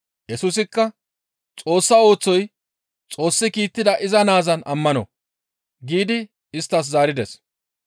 Yesusikka, «Xoossa oosoy Xoossi kiittida iza naazan ammano» giidi isttas zaarides.